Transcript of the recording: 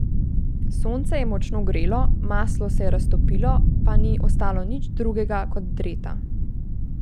Sonce je močno grelo, maslo se je raztopilo, pa ni ostalo nič drugega kot dreta.